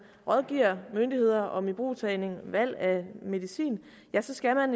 rådgiver myndigheder om ibrugtagning valg af medicin så skal man